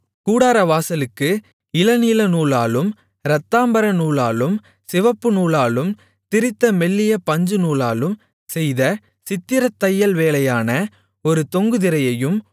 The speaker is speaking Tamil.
கூடாரவாசலுக்கு இளநீலநூலாலும் இரத்தாம்பரநூலாலும் சிவப்புநூலாலும் திரித்த மெல்லிய பஞ்சுநூலாலும் செய்த சித்திரத் தையல்வேலையான ஒரு தொங்கு திரையையும்